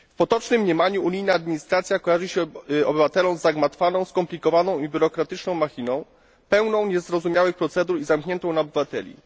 W potocznym mniemaniu unijna administracja kojarzy się obywatelom z zagmatwaną, skomplikowaną i biurokratyczną machiną, pełną niezrozumiałych procedur i zamkniętą na obywateli.